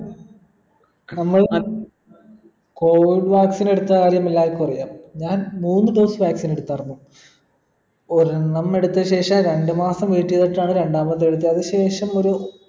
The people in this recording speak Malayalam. നമ്മൾ അഹ് covid vaccine എടുത്ത കാര്യം എല്ലാർക്കും അറിയാ ഞാൻ മൂന്ന് dose vaccine എടുത്തായിരുന്നു ഒരെണ്ണം എടുത്ത ശേഷം രണ്ട് മാസം നീട്ടി വെച്ചാണ് രണ്ടാമത്തത് എടുത്തേ അത് ശേഷം ഒരു